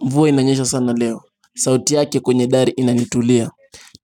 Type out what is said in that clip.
Mvua inanyesha sana leo. Sauti yake kwenye gari inanituliza.